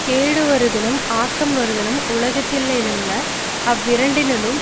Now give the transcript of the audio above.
கேடுவருதலும் ஆக்கம் வருதலும் உலகத்தில்லையல்ல அவ்விரண்டினுள்ளும்